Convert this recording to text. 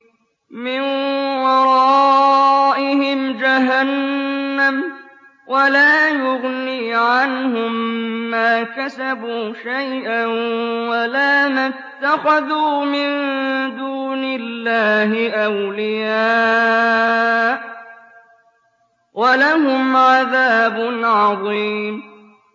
مِّن وَرَائِهِمْ جَهَنَّمُ ۖ وَلَا يُغْنِي عَنْهُم مَّا كَسَبُوا شَيْئًا وَلَا مَا اتَّخَذُوا مِن دُونِ اللَّهِ أَوْلِيَاءَ ۖ وَلَهُمْ عَذَابٌ عَظِيمٌ